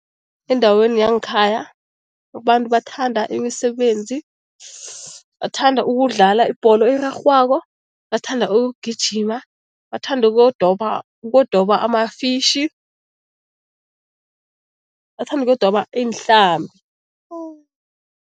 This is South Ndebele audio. Endaweni yangekhaya abantu bathanda imisebenzi, bathanda ukudlala ibholo erarhwako, bathanda ukugijima, bathanda ukuyodoba amafishi, bathanda ukuyodoba iinhlambi